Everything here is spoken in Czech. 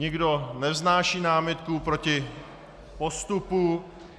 Nikdo nevznáší námitku proti postupu?